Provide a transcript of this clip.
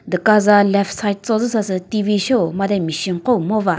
duka za left side cho zü sasü T_V sheo made machine koo ngova.